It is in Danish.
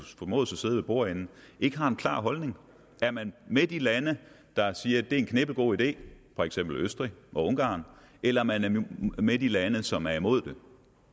formodes at sidde ved bordenden ikke har en klar holdning er man med de lande der siger at det er en knippelgod idé for eksempel østrig og ungarn eller er man med de lande som er imod det